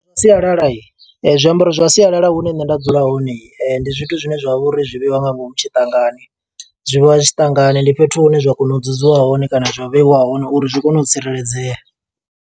Zwa sialala, zwiambaro zwa sialala hune nṋe nda dzula hone. Ndi zwithu zwine zwa vha uri zwi vheiwa nga ngomu tshiṱangani. Zwi vha zwi tshiṱangani, ndi fhethu hune zwa kona u dzudzwa hone kana zwa vheiwa hone uri zwi kone u tsireledzea.